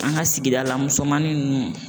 An ka sigida la musomanin ninnu.